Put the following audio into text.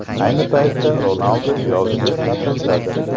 Ayni paytda Ronaldu yozgi ta’tildadir.